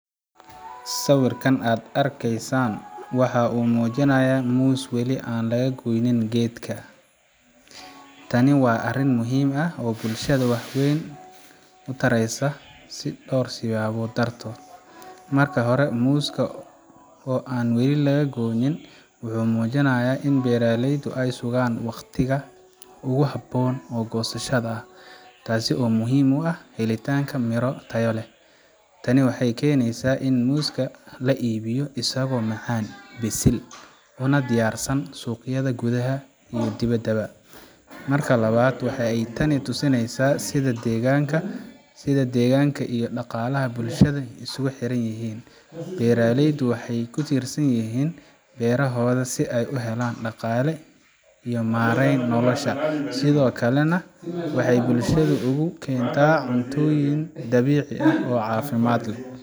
Sawirka aad arkaysaan waxa uu muujinayaa muus wali aan la goynin geedka. Tani waa arrin muhiim ah oo bulshada wax weyn u taraysa dhowr sababood dartood. Marka hore, muuska oo aan wali la goyn wuxuu muujinayaa in beeraleydu ay sugayaan waqtiga ugu habboon ee goosashada, taas oo muhiim u ah helitaanka miro tayo leh. Tani waxay keenaysaa in muuska la iibiyo isagoo macaan, bisil, una diyaarsan suuqyada gudaha iyo dibedda. Marka labaad, waxa ay tani tusinaysaa sida deegaanka iyo dhaqaalaha bulshada isugu xiran yihiin. Beeraleyda waxay ku tiirsan yihiin beerahooda si ay u helaan dhaqaale ay ku maareeyaan noloshooda, sidoo kalena ay bulshada ugu keenaan cuntooyin dabiici ah oo caafimaad leh.